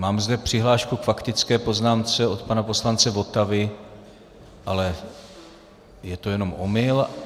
Mám zde přihlášku k faktické poznámce od pana poslance Votavy, ale je to jenom omyl.